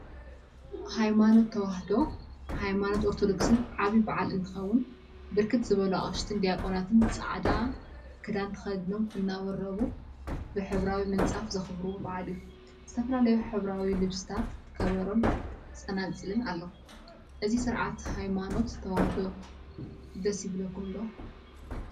ሃይማኖት ተዋህዶ ሃይማኖት ኦርቶዶክስ ዓብይ በዓል እንትኸውን፤ ብርክት ዝበሉ አቅሽትን ዲያቆናትን ፃዕዳ ክዳን ተከዲኖም እናወረቡ ብ ሕብራዊ ምንፃፍ ዘክብርዎ በዓል እዩ፡፡ ዝተፈላለዩ ሕብራዊ ልብሲታት፣ ከበሮን ፀናፅልን አለው፡፡ እዚ ስርዓት ሃይማኖት ተዋህዶ ደስ ይብለኩም ዶ?